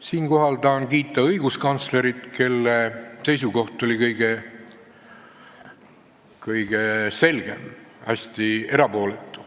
Siinkohal tahan kiita õiguskantslerit, kelle seisukoht oli kõige selgem ja hästi erapooletu.